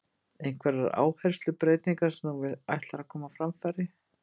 Einhverjar áherslubreytingar sem þú ætlar að koma á framfæri?